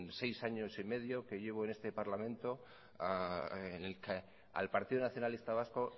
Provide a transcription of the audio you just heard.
seis año y medio que llevo en este parlamento en el que al partido nacionalista vasco